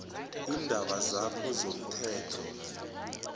iindaba zakho zomthelo